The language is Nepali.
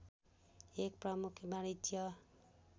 एक प्रमुख वाणिज्य